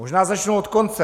Možná začnu od konce.